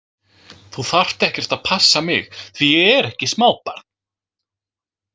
Þú þarft ekkert að passa mig því ég er ekki smábarn